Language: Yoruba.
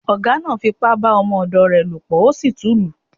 Ọ̀gá náá fi ipá bá ọmọ ọ̀dọ̀ rẹ̀ lò pọ̀ ó sì tún lù ú